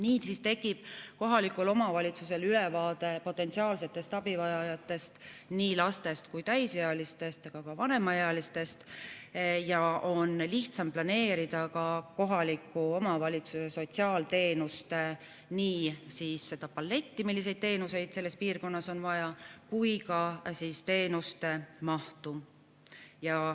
Niisiis tekib kohalikul omavalitsusel ülevaade potentsiaalsetest abivajajatest, nii lastest kui ka täisealistest, ka vanemaealistest, ja on lihtsam planeerida kohaliku omavalitsuse nii sotsiaalteenuste paletti, see tähendab seda, milliseid teenuseid selles piirkonnas on vaja, kui ka teenuste mahtu.